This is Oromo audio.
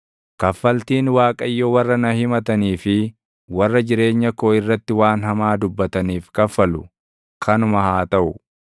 Kaffaltiin Waaqayyo warra na himatanii fi warra jireenya koo irratti waan hamaa dubbataniif kaffalu kanuma haa taʼu.